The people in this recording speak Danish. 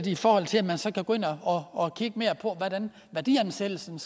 i forhold til at man så kan gå ind og og kigge mere på værdiansættelsen